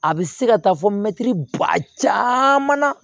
A bɛ se ka taa fɔ mɛtiri ba caman na